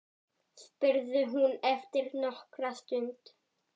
spurði hún eftir nokkra stund.